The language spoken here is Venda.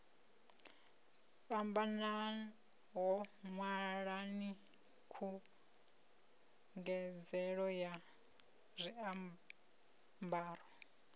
fhambanaho ṅwalani khungedzelo ya zwiambaro